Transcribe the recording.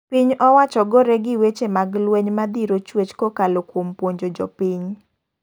Piny owacho gore gi weche mag lweny madhiro chuech kokalo kuom puonjo jopiny.